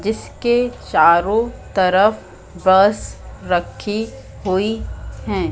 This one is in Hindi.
जिसके चारों तरफ बस रखी हुई हैं।